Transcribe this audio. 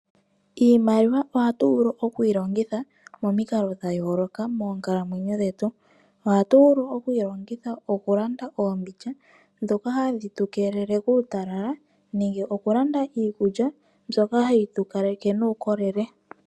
Iimaliwa ohatu vulu oku yi longitha momikalo dha yooloka moonkalamwenyo dhetu. Ohatu vulu oku yi longitha okulanda oombindja ndhoka hadhi tu keelele kuutalala nenge okulanda iikulya mbyoka hayi tu kaleke nuukolele.